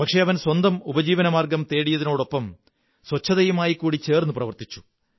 പക്ഷേ അവൻ സ്വന്തം ഉപജീവനമാര്ഗംത തേടിയതിനൊപ്പം ശുചിത്വവുമായിക്കൂടി ചേര്ന്നു പ്രവര്ത്തിജച്ചു